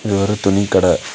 இது ஒரு துணி கட.